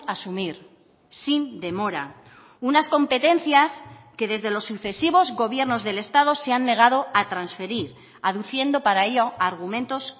asumir sin demora unas competencias que desde los sucesivos gobiernos del estado se han negado a transferir aduciendo para ello argumentos